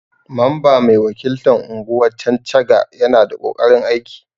Mamba mai wakiltan unguwan Chanchaga Yana da kokarin aiki.